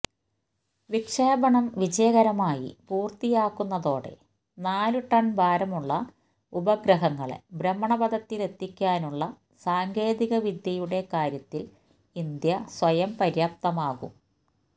വിക്ഷേപണം വിജയകരമായി പൂര്ത്തിയാക്കുന്നതോടെ നാലു ടണ് ഭാരമുള്ള ഉപഗ്രഹങ്ങളെ ഭ്രമണപഥത്തിലെത്തിക്കാനുള്ള സാങ്കേതികവിദ്യയുടെ കാര്യത്തില് ഇന്ത്യ സ്വയംപര്യാപ്തമാകും